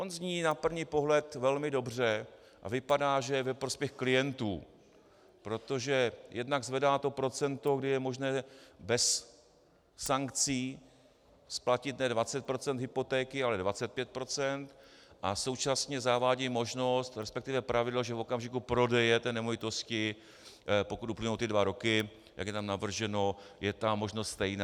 On zní na první pohled velmi dobře a vypadá, že je ve prospěch klientů, protože jednak zvedá to procento, kdy je možné bez sankcí splatit ne 20 % hypotéky, ale 25 %, a současně zavádí možnost, respektive pravidlo, že v okamžiku prodeje té nemovitosti, pokud uplynou ty dva roky, jak je tam navrženo, je ta možnost stejná.